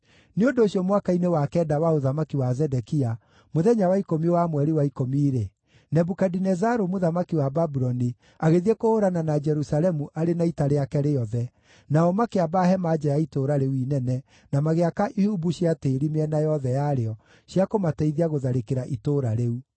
Nĩ ũndũ ũcio mwaka-inĩ wa kenda wa ũthamaki wa Zedekia, mũthenya wa ikũmi wa mweri wa ikũmi-rĩ, Nebukadinezaru mũthamaki wa Babuloni agĩthiĩ kũhũũrana na Jerusalemu arĩ na ita rĩake rĩothe, nao makĩamba hema nja ya itũũra rĩu inene, na magĩaka ihumbu cia tĩĩri mĩena yothe yarĩo cia kũmateithia gũtharĩkĩra itũũra rĩu.